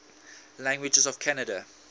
languages of canada